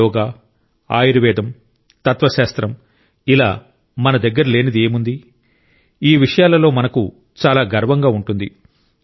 మన యోగా ఆయుర్వేదం తత్వశాస్త్రం ఇలా మన దగ్గర లేనిది ఏముంది ఈ విషయాలలో మనకు చాలా గర్వంగా ఉంటుంది